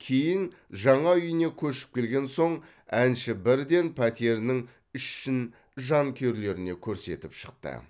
кейін жаңа үйіне көшіп келген соң әнші бірден пәтерінің ішін жанкүйерлеріне көрсетіп шықты